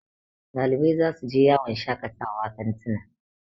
Ɗalibai za su je yawon shakawa kantina